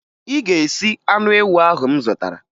Ị ga-esi anụ ewu ahụ m zụtara!